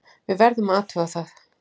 Við verðum að athuga það.